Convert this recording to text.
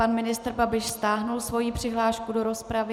Pan ministr Babiš stáhl svoji přihlášku do rozpravy.